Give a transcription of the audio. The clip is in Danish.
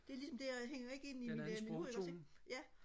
det er ligesom det jeg hænger ikke ind i ikke også ikke